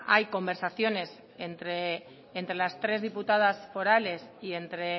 hay conversaciones entre las tres diputadas forales y entre